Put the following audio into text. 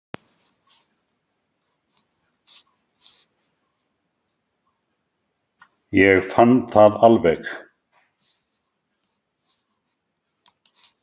Ég fann það alveg.